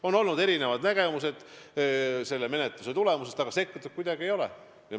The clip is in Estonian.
On olnud erinevad nägemused selle menetluse tulemusest, aga sekkutud kuidagi ei ole.